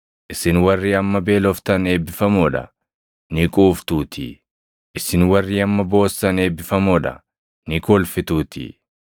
Isin warri amma beeloftan eebbifamoo dha; ni quuftuutii. Isin warri amma boossan eebbifamoo dha; ni kolfituutii.